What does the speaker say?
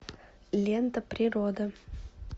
лента природа